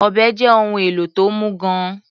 Ọ̀bẹ́ jẹ́ ohun èlò tó mú gan-an.